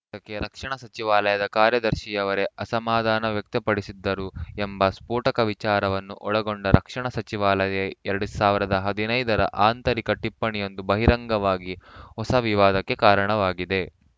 ಇದಕ್ಕೆ ರಕ್ಷಣಾ ಸಚಿವಾಲಯದ ಕಾರ್ಯದರ್ಶಿಯವರೇ ಅಸಮಾಧಾನ ವ್ಯಕ್ತಪಡಿಸಿದ್ದರು ಎಂಬ ಸ್ಫೊಟಕ ವಿಚಾರವನ್ನು ಒಳಗೊಂಡ ರಕ್ಷಣಾ ಸಚಿವಾಲಯದ ಎರಡು ಸಾವಿರದ ಹದಿನೈದರ ಆಂತರಿಕ ಟಿಪ್ಪಣಿಯೊಂದು ಬಹಿರಂಗವಾಗಿ ಹೊಸ ವಿವಾದಕ್ಕೆ ಕಾರಣವಾಗಿದೆ